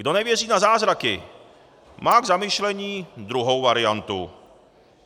Kdo nevěří na zázraky, má k zamyšlení druhou variantu.